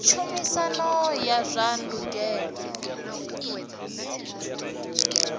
tshumisano ya zwa ndangulo i